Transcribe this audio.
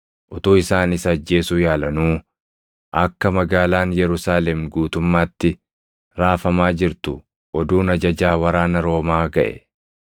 Utuu isaan isa ajjeesuu yaalanuu akka magaalaan Yerusaalem guutummaatti raafamaa jirtu oduun ajajaa waraana Roomaa gaʼe.